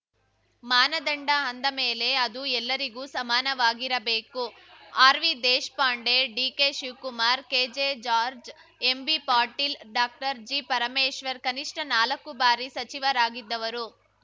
ಮಾನದಂಡ ಅಂದ ಮೇಲೆ ಅದು ಎಲ್ಲರಿಗೂ ಸಮಾನವಾಗಿರಬೇಕು ಆರ್‌ವಿದೇಶ್ ಪಾಂಡೆ ಡಿಕೆಶಿವ್ ಕುಮಾರ್‌ ಕೆಜೆಜಾರ್ಜ್ ಎಂಬಿಪಾಟೀಲ್‌ ಡಾಕ್ಟರ್ಜಿ ಪರಮೇಶ್ವರ್‌ ಕನಿಷ್ಠ ನಾಲ್ಕು ಬಾರಿ ಸಚಿವರಾಗಿದ್ದವರು